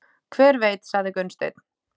Hver veit, sagði Gunnsteinn.